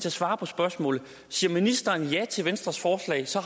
at svare på spørgsmålet siger ministeren ja til venstres forslag så